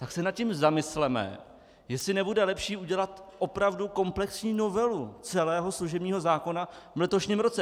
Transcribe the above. Tak se nad tím zamysleme, jestli nebude lepší udělat opravdu komplexní novelu celého služebního zákona v letošním roce.